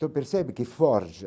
Então percebe que forja.